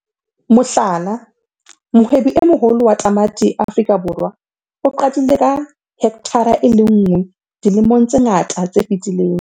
Mohlala - Mohwebi e moholo wa tamati Afrika Borwa o qadile ka hekthara e le nngwe dilemong tse ngata tse fetileng.